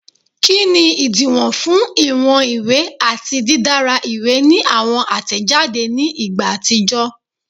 Kini idiwọn fun iwọn iwe ati didara iwe ni awọn atẹjade ni igba atijọ?